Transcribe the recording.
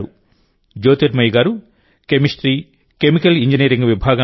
జ్యోతిర్మయి గారు chemistry chemical engineering విభాగంలో I